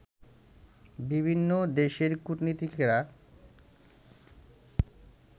বিভিন্ন দেশের কূটনীতিকেরা